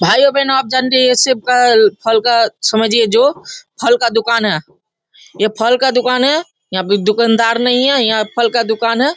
भाईयो-बहनों आप जानते ही हैं ये शिव का फल का समझिए जो फल का दुकान है ये फल का दुकान है यहाँ पे दुकानदार नहीं हैं ये फल का दुकान है ।